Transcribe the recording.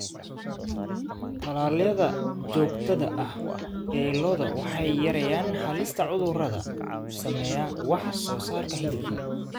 Tallaalada joogtada ah ee lo'da waxay yareeyaan halista cudurrada saameeya wax soo saarka hilibka.